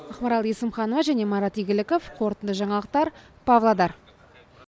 ақмарал есімханова және марат игіліков қорытынды жаңалықтыр павлодар